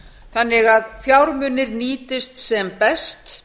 þannig að fjármunir nýtist sem best